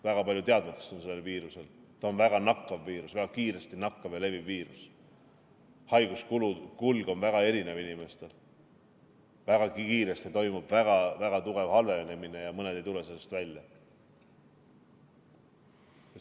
Väga palju teadmatust on selle viiruse suhtes, see on väga nakkav viirus, väga kiiresti nakkav ja leviv viirus, haiguse kulg on inimestel väga erinev, väga kiiresti toimub väga tugev halvenemine ja mõned ei tule sellest välja.